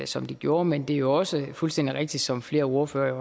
som det gjorde men det er jo også fuldstændig rigtigt som flere ordførere